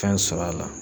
Fɛn sɔrɔ a la